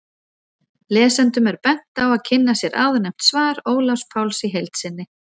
Lesendum er bent á að kynna sér áðurnefnt svar Ólafs Páls í heild sinni.